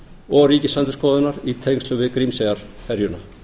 og ríkisendurskoðunar í tengslum við grímseyjarferjuna